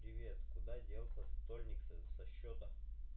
привет куда делся стольник с со счёта